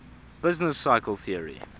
business cycle theory